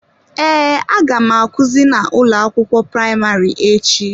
Ee, a ga m akuzi na ụlọ akwụkwọ praịmarị echi.